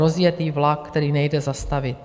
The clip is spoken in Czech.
Rozjetý vlak, který nejde zastavit.